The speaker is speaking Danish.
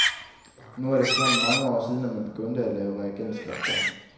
Nu er det efterhånden mange år siden, at man begyndte at lave reagensglasbørn.